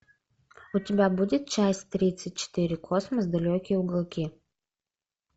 у тебя будет часть тридцать четыре космос далекие уголки